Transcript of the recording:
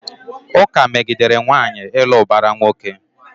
Ụka megidere nwaanyị ịlụ ụbara nwoke.